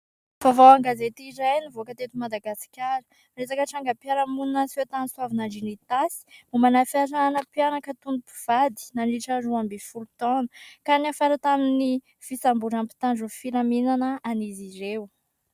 Vaovao an-gazety iray nivoaka teto Madagasikara. Resaka trangam-piarahamonina niseho tany Soavinandriana Itasy mombana : "fiarahana mpianaka toy ny mpivady nandritra ny roa ambin'ny folo taona" ka niafara hatramin'ny fisamboran'ny mpitandro filaminana an'izy ireo.